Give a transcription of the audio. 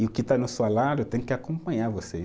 E o que está tem que acompanhar você.